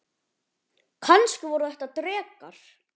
Kannski voru þetta drekar?